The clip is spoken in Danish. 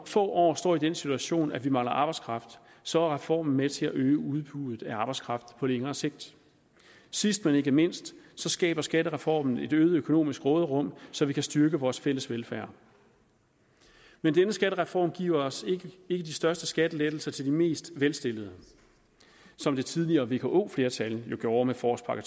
få år står i den situation at vi mangler arbejdskraft så er reformen med til at øge udbuddet af arbejdskraft på længere sigt sidst men ikke mindst skaber skattereformen et øget økonomisk råderum så vi kan styrke vores fælles velfærd men denne skattereform giver ikke de største skattelettelser til de mest velstillede som det tidligere vko flertal jo gjorde med forårspakke